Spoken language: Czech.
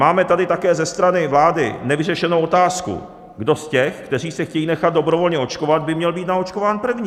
Máme tady také ze strany vlády nevyřešenou otázku, kdo z těch, kteří se chtějí nechat dobrovolně očkovat, by měl být naočkován první.